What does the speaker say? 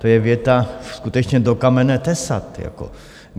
To je věta, skutečně do kamene tesat.